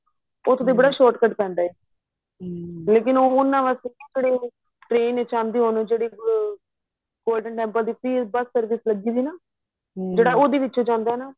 ਉਥੋ ਤੇ ਬੜਾ short cut ਪੈਂਦਾ ਏ ਲੇਕਿਨ ਉਹ ਉਹਨਾ ਵਾਸਤੇ ਏ ਜਿਹੜੇ ਉਹ train ਚ ਆਦੇ ਹੋਣ ਜਿਹੜੀ golden temple ਦੀ free bus service ਲੱਗੀ ਵੀ ਨਾ ਜਿਹੜਾ ਉਹਦੇ ਵਿਚੋ ਜਾਂਦਾ ਨਾ